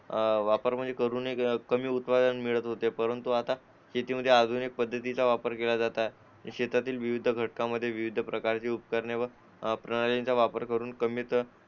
अं वापर म्हणजे करून कमी उत्पादन मिळत होते परंतु शेतीमध्ये आधुनिक पद्धतीचा वापर केला जातो शेतातील विविध घटकांमध्ये विविध प्रकारचे उपकरणे प्रणालीचा वापर करून